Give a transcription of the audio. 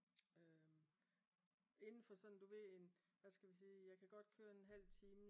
Indenfor sådan du ved en hvad skal vi sige? Jeg kan godt køre en halv time